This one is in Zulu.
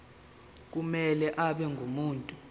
kumele abe ngumuntu